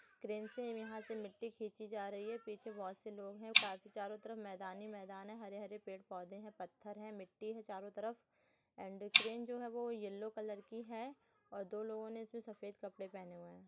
Crane से यहाँ से मिट्टी खींची जा रही है। पीछे बहुत से लोग हैं। काफी चारों तरह मैदान ही मैदान है। हरे हरे पेड़ पौधे है। पत्थर है। मिट्टी है। चारों तरफ एंड क्रेन जो है वो येलो कलर की है और दो लोगों ने इसमे सफेद कपड़े पहने हुए है।